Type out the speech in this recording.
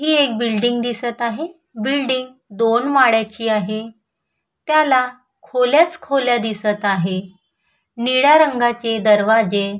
ही एक बिल्डिंग दिसत आहे बिल्डिंग दोन माळ्याची आहे त्याला खोलच खोल दिसत आहे निळ्या रंगाचे दरवाजे --